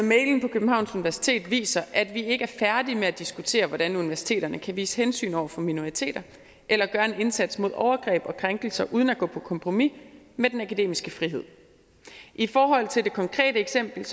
københavns universitet viser at vi ikke er færdige med at diskutere hvordan universiteterne kan vise hensyn over for minoriteter eller gøre en indsats mod overgreb og krænkelser uden at gå på kompromis med den akademiske frihed i forhold til det konkrete eksempel